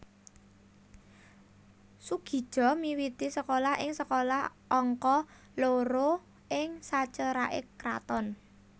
Soegija miwiti sekolah ing Sekolah Angka Loro ing saceraké Kraton